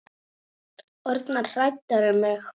Orðnar hræddar um mig.